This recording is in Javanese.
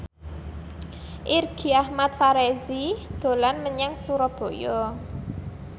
Irgi Ahmad Fahrezi dolan menyang Surabaya